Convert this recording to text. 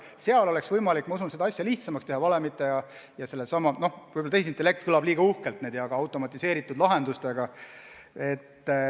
Ma usun, et oleks võimalik teha seda asja lihtsamaks mingite automatiseeritud lahendustega, võib-olla tehisintellekt kõlab liiga uhkelt, ma ei tea.